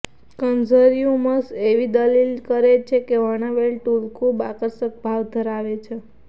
consumers એવી દલીલ કરે છે કે વર્ણવેલ ટૂલ ખૂબ આકર્ષક ભાવ ધરાવે છે